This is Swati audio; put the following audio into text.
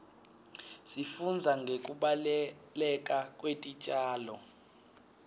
sifundza ngekubaluleka kwetitjalo